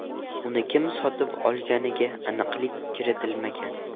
Uni kim sotib olganiga aniqlik kiritilmagan.